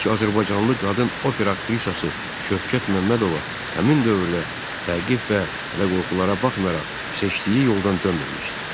İlk azərbaycanlı qadın opera aktrisası Şövkət Məmmədova həmin dövrdə təqib və hədəqorxulara baxmayaraq, seçdiyi yoldan dönməmişdi.